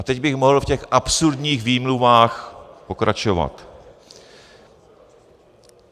A teď bych mohl v těch absurdních výmluvách pokračovat.